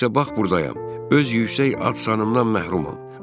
İndi isə bax burdayam, öz yüksək ad-sanından məhrumam.